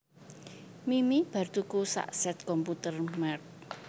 Mimi bar tuku sak set komputer merk